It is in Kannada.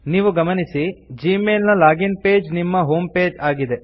ನೀವು ಗಮನಿಸಿ ಜಿಮೇಲ್ ನ ಲಾಗಿನ್ ಪೇಜ್ ನಿಮ್ಮ ಹೋಮ್ ಪೇಜ್ ಆಗಿದೆ